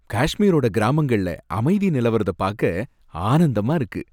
காஷ்மீரோட கிராமங்கள்ல அமைதி நிலவரத பாக்க ஆனந்தமா இருக்கு.